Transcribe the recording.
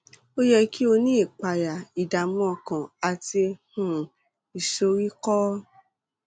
ó yẹ kí ó ní ìpayà ìdààmú ọkàn àti um ìsoríkọ